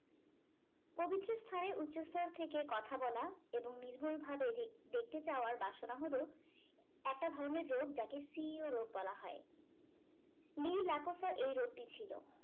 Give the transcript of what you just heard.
পবিত্র স্থানে উচস্তর থেকে কথা বলা এবং নির্ভুল ভাবে দেখতে চাওয়ার বাসনা হলো একটা ধরণের রোগ যাকে সিইও রোগ বলা হয় . এই রোগ টি ছিল